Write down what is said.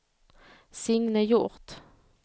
Signe Hjort